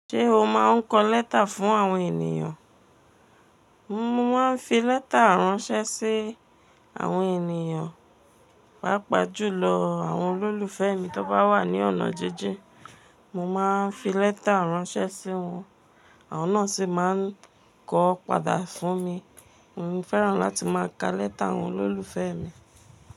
Ṣé o máa ń kọ lẹ́tà fún àwọn ènìyàn? Mo ma n fi lẹta ran ṣe sí àwọn èniyàn paapa julọ awọn ololufẹ mii ti wọn bawa ni ọna jìn jìn. Mo máa ń fi lẹ́tà ránṣẹ́ sí wọn, àwọn náà sì máa ń kọ ọ́ padà fún mi. Mo fẹ́ràn láti máa ka lẹ́tà àwọn olólùfẹ́ mi.